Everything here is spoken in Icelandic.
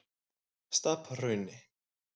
Stapahrauni